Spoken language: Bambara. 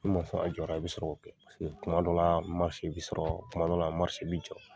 Ni masɔnya jɔra i bi sɔrɔ k'o kɛ. Paseke kuma dɔ la bi sɔrɔ, kuma dɔ la bi jɔ.